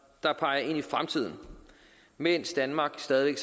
der peger ind i fremtiden mens danmark stadig